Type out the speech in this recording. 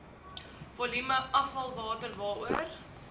volume afvalwater waaroor